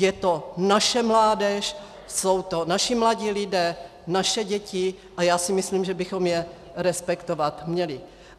Je to naše mládež, jsou to naši mladí lidé, naše děti a já si myslím, že bychom je respektovat měli.